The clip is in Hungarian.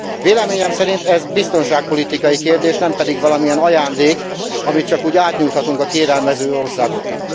Véleményem szerint ez biztonságpolitikai kérdés, nem pedig valamilyen ajándék, amit csak úgy átnyújthatunk a kérelmező országoknak.